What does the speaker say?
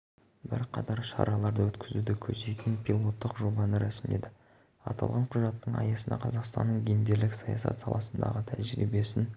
бірқатар шараларды өткізуді көздейтін пилоттық жобаны рәсімдеді аталған құжаттың аясында қазақстанның гендерлік саясат саласындағы тәжірибесін